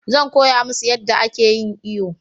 Zan koya musu yanda a ke yin iyo